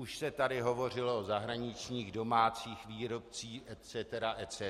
Už se tady hovořilo o zahraničních, domácích výrobcích etc. etc.